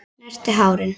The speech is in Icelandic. Snerti hárin.